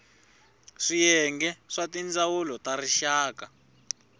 swiyenge swa tindzawulo ta rixaka